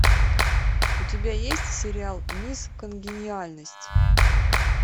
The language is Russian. у тебя есть сериал мисс конгениальность